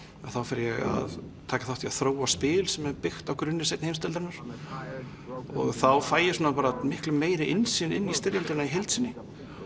þá fer ég að taka þátt í að þróa spil sem er byggt á grunni seinni heimsstyrjaldarinnar og þá fæ ég bara miklu meiri innsýn inn í styrjöldina í heild sinni